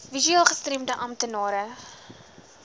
visueel gestremde amptenare